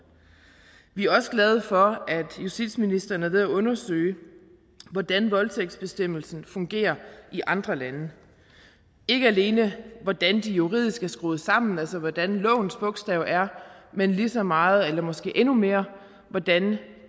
vi er også glade for at justitsministeren er ved at undersøge hvordan voldtægtsbestemmelserne fungerer i andre lande ikke alene hvordan de juridisk er skruet sammen altså hvordan lovens bogstav er men lige så meget eller måske endnu mere hvordan